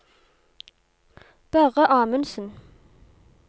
Børre Amundsen